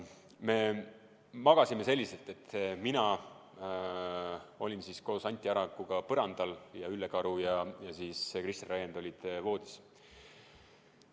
Me magasime selliselt, et mina olin koos Anti Arakuga põrandal ja Ülle Karu ja Kristjan Raiend olid voodis.